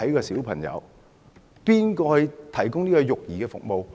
誰來提供育兒服務？